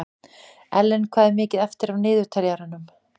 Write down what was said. Ellen, hvað er mikið eftir af niðurteljaranum?